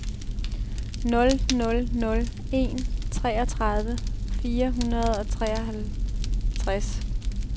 nul nul nul en toogtredive fire hundrede og fireoghalvtreds